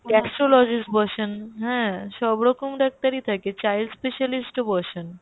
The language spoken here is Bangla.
axslogic বসেন হ্যাঁ সবরকম ডাক্তারই থাকেন child specialist ও বসেন !